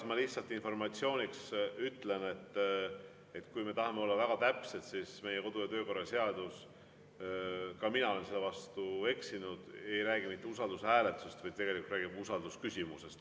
Ma lihtsalt informatsiooniks ütlen, et kui me tahame olla väga täpsed, siis meie kodu‑ ja töökorra seadus – ka mina olen selle vastu eksinud – ei räägi mitte usaldushääletusest, vaid räägib usaldusküsimusest.